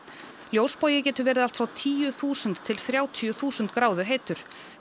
ljósbogi getur verið allt frá tíu þúsund til þrjátíu þúsund gráðu heitur